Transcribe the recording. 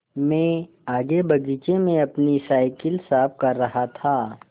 मैं आगे बगीचे में अपनी साईकिल साफ़ कर रहा था